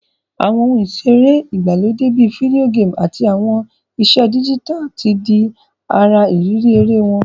Àwon oun ìseré ìgbàlódé bi video game àtí àwon ìse digital ti di ara ìrírí eré won